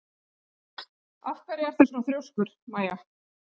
Af hverju ertu svona þrjóskur, Maja?